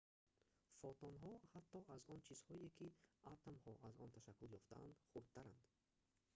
фотонҳо ҳатто аз он чизҳое ки атомҳо аз он ташаккул ёфтаанд хурдтаранд